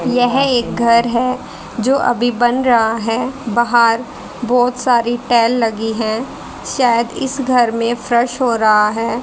यह एक घर है जो अभी बन रहा है बाहर बहुत सारी टैल लगी हैं शायद इस घर में फर्श हो रहा है।